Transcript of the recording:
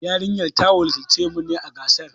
Yarinyar ta wakilci mu a gasar.